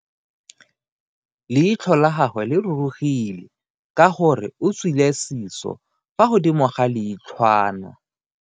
Leitlho la gagwe le rurugile ka gore o tswile siso fa godimo ga leitlhwana.